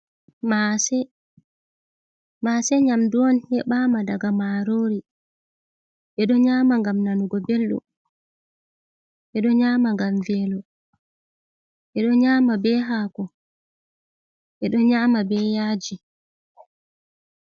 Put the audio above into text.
Maase nyamdu on heɓaama daga marori ɓe ɗo nyama ngam nanugo beldum, ɓe ɗo nyama ngam velo ɓe ɗo nyama be haako ɓe ɗo nyama be yaaji.